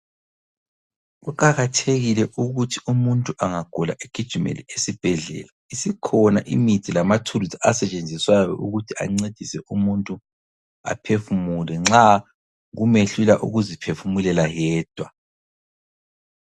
Kuqakathekile ukuthi umuntu angagula egijimele esibhedlela, isikhona imithi lamathulusi asetshenziswayo ukuthi ancedise umuntu aphefumule nxa kumehlula ukuziphefumulela yedwa.